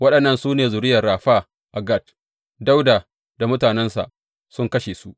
Waɗannan su ne zuriyar Rafa a Gat, Dawuda da mutanensa sun kashe su.